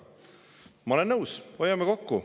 Ma olen nõus, hoiame kokku.